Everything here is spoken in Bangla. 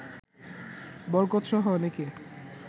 বরকতসহ অনেকে